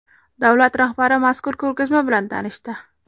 Davlat rahbari mazkur ko‘rgazma bilan tanishdi.